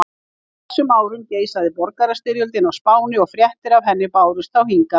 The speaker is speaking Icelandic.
Á þessum árum geisaði borgarastyrjöldin á Spáni og fréttir af henni bárust þá hingað.